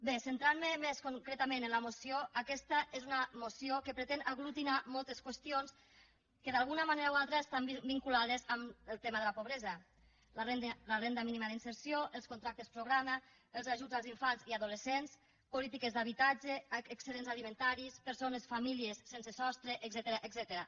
bé centrant me més concretament en la moció aquesta és una moció que pretén aglutinar moltes qüestions que d’alguna manera o altra estan vinculades al tema de la pobresa la renda mínima d’inserció els contractes programa els ajuts als infants i adolescents polítiques d’habitatge excedents alimentaris persones famílies sense sostre etcètera